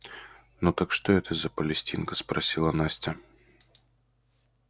ну так что это за палестинка спросила настя